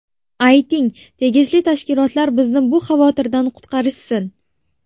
Ayting, tegishli tashkilotlar bizni bu xavotirdan qutqarishsin.